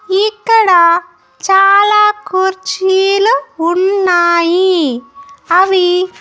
ఇక్కడ చాలా కుర్చీలు ఉన్నాయి అవి.